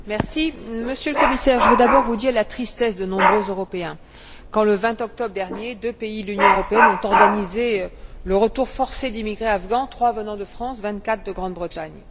Monsieur le Président, Monsieur le Commissaire, je veux d'abord vous dire la tristesse de nombreux Européens quand, le 20 octobre dernier, deux pays de l'Union européenne ont organisé le retour forcé d'immigrés afghans, trois venant de France, vingt quatre de Grande Bretagne.